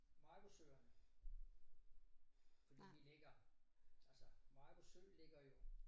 Maribosøerne fordi vi ligger altså Maribo sø ligger jo